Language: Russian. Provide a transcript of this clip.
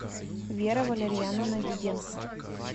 вера валерьяновна диденко